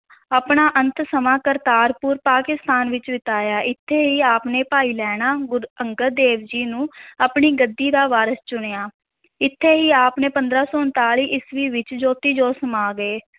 ਆਪਣਾ ਅੰਤ ਸਮਾਂ ਕਰਤਾਰਪੁਰ, ਪਾਕਿਸਤਾਨ ਵਿੱਚ ਬਿਤਾਇਆ, ਇੱਥੇ ਹੀ ਆਪ ਨੇ ਭਾਈ ਲਹਣਾ, ਗੁਰੂ ਅੰਗਦ ਦੇਵ ਜੀ ਨੂੰ ਆਪਣੀ ਗੱਦੀ ਦਾ ਵਾਰਸ ਚੁਣਿਆ, ਇੱਥੇ ਹੀ ਆਪ ਨੇ ਪੰਦਰਾਂ ਸੌ ਉਣਤਾਲੀ ਈਸਵੀ ਵਿੱਚ ਜੋਤੀ-ਜੋਤ ਸਮਾ ਗਏ।